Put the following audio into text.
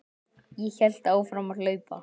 Ég hélt áfram að hlaupa.